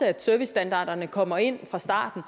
at servicestandarderne kommer ind fra starten